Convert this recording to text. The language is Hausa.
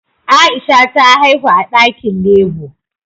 Aisha ta haihu a dakin labour